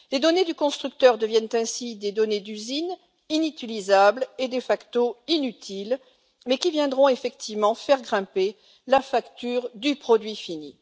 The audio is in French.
Les données du constructeur deviennent ainsi des données d'usine inutilisables et de facto inutiles, mais qui viendront effectivement faire grimper la facture du produit fini.